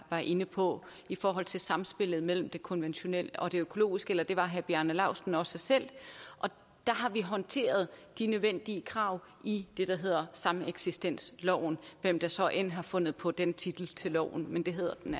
var inde på i forhold til samspillet mellem det konventionelle og det økologiske og det var herre bjarne laustsen også selv der har vi håndteret de nødvendige krav i det det hedder sameksistensloven hvem der så end har fundet på den titel til loven men det hedder den